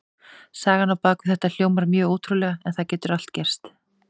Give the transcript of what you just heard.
Sagan á bak við þetta hljómar mjög ótrúlega en það getur allt gerst.